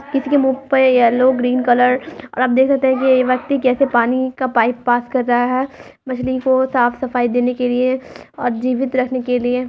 किसी के मुंह पर येलो ग्रेन कलर आप देख सकते हैं। ये व्यक्ति कैसे पानी का पाइप पास कर रहा है। मछली को साफ-सफाई देने के लिए और जीवित रखने के लिए।